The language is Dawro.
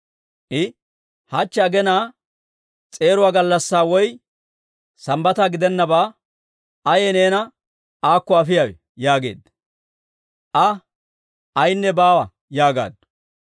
I, «Hachche aginaa s'eeruwaa gallassaa woy Sambbata gidennabaa, ayee neena aakko afiyaawe?» yaageedda. Aa, «Ayaynne baawa» yaagaaddu.